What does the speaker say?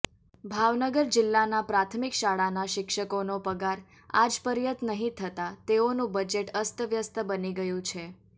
ભાવનગર જિલ્લાના પ્રાથમિક શાળાના શિક્ષકોનો પગાર આજપર્યત નહિ થતા તેઓનું બજેટ અસ્તવ્યસ્ત બની ગયુ છે